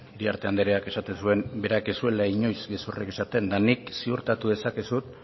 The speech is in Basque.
iriarte andereak esaten zuen berak ez zuela inoiz gezurrik esaten eta nik ziurtatu dezakezut